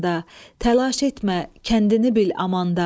Təlaş etmə, kəndini bil amanda.